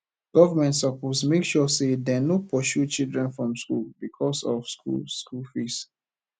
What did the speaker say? government suppose make sure sey dem no pursue children from skool because of skool skool fees